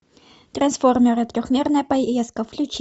трансформеры трехмерная поездка включи